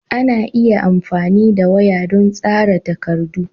Ana iya amfani da waya don tsara takardu.